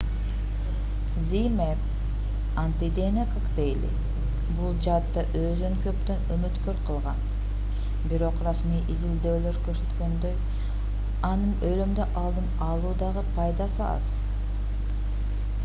zmapp антидене коктейли бул жаатта өзүн көптөн үмүткөр кылган бирок расмий изилдөөлөр көрсөткөндөй анын өлүмдү алдын алуудагы пайдасы аз